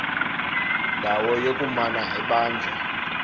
ndawo yokumana ebanjwa